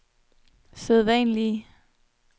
sædvanlige